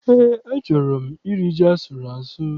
Eé, achọrọ m iri ji asụrụ asụ.